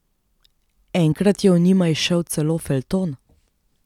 Enkrat je o njima izšel celo feljton.